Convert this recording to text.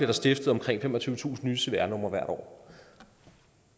der stiftet omkring femogtyvetusind nye cvr nummer hvert år